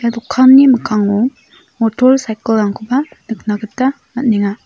ia dokanni mikkango motorsaikil rangkoba nikna gita man·enga.